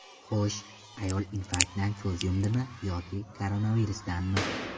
Xo‘sh, ayol infarktdan ko‘z yumdimi yoki koronavirusdanmi?